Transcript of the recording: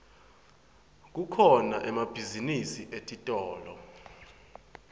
kukhona emabhizinisi etitolo